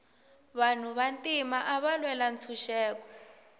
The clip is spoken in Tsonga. vanhu va ntima ava lwela ntshuxeko